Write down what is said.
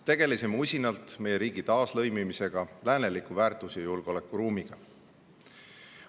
Tegelesime usinalt meie riigi taaslõimimisega lääneliku väärtus- ja julgeolekuruumiga.